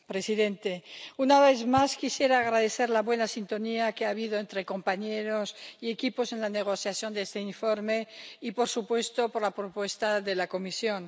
Señor presidente, una vez más, quisiera expresar mi agradecimiento por la buena sintonía que ha habido entre compañeros y equipos en la negociación de este informe y, por supuesto, por la propuesta de la Comisión.